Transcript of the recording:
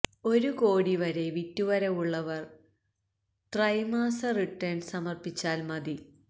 ഒരു കോടി വരെ വിറ്റുവരവുള്ളവര് െ്രെതമാസ റിട്ടേണ് സമര്പ്പിച്ചാല് മതി